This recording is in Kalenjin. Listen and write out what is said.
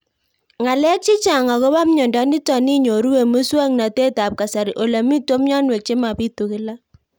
Ng'alek chechang' akopo miondo nitok inyoru eng' muswog'natet ab kasari ole mito mianwek che mapitu kila